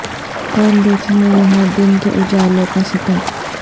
کون دیکھے گا یہاں دن کے اجالوں کا ستم